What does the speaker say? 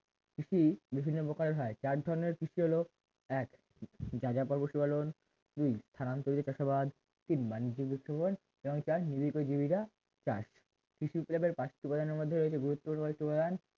কৃষি বিভিন্ন প্রকার হয় চার ধরনের কৃষি হলো এক যাযাবর পশুপালন দুই স্থানান্তরিত চাষাবাদ তিন বাণিজ্য উপস্থাপন এবং চার নির্ভর করে জীবিকা চাষ কৃষি উপজাতের পার্শিক উপাদানের মধ্যে রয়েছে উপাদান গুরুত্বপূর্ণ একটি উপাদান